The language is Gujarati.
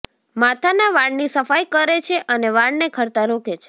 માથાના વાળની સફાઈ કરે છે અને વાળને ખરતા રોકે છે